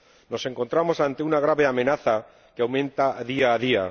Nos encontramos ante una grave amenaza que aumenta día a día.